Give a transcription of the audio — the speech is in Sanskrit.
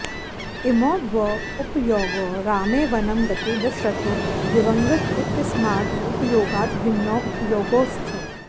इमौ द्वौ उपयोगौ रामे वनं गते दशरथो दिवङ्गतः इत्यस्मात् उपयोगात् भिन्नौ उपयोगौ स्तः